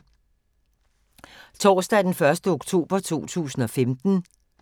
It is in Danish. Torsdag d. 1. oktober 2015